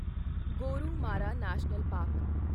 Gorumara national park